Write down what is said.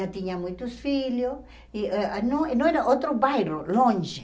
Já tinha muitos filhos e ãh não não era outro bairro, longe.